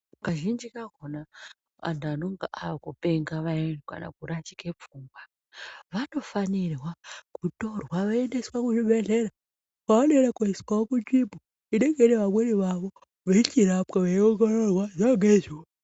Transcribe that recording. Kazhinji kakona antu anenge aakupenga vayani kana kurashike pfungwa vanofanirwa kutorwa voendeswa kuzvibhedhlera, kwavanoenda kundoiswawo kunzvimbo inenge ine vamweni vavo vechichirapwa, veiongororwa zuva ngezuva.